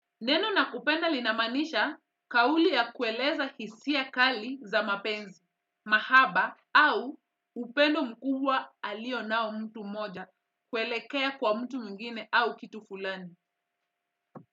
Neno nakupenda linamanisha kauli ya kueleza hisia kali za mapenzi, mahaba au upendo mkubwa alio nao mtu mmoja kuelekea kwa mtu mwingine au kitu fulani.